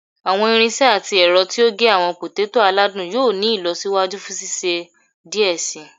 Awọn irinṣẹ ati ẹrọ ti o ge awọn poteto aladun yoo ni ilọsiwaju fun ṣiṣe diẹ sii